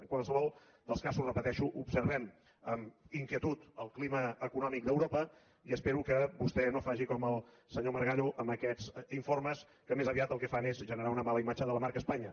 en qualsevol dels casos ho repeteixo observem amb inquietud el clima econòmic d’europa i espero que vostè no faci com el senyor margallo amb aquests informes que més aviat el que fan és generar una mala imatge de la marca espanya